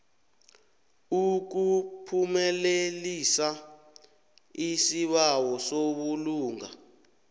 ukuphumelelisa isibawo sobulunga